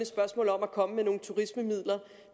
spørgsmål om at komme med nogle turismemidler